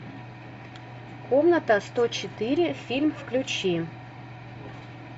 комната сто четыре фильм включи